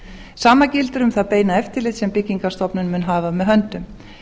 sama gildir um það beina eftirlit sem byggingarstofnun mun hafa með höndum